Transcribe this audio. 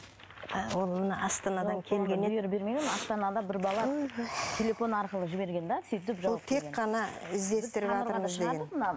ол мына астанадан келген еді астанада бір бала телефон арқылы жіберген де сөйтіп тек қана іздестіріватырмыз деген